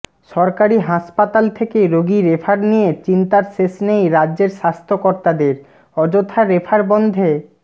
সরকারি হাসপাতাল থেকে রোগী রেফার নিয়ে চিন্তার শেষ নেই রাজ্যের স্বাস্থ্য কর্তাদের অযথা রেফার বন্ধে